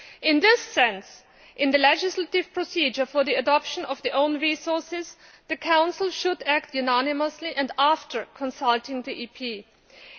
In this sense, in the legislative procedure for the adoption of own resources, the Council should act unanimously and after consulting the European Parliament.